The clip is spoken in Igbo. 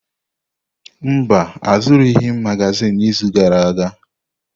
Mba, azụrụghị m magazin n’izu gara aga.